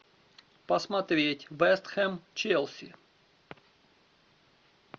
посмотреть вест хэм челси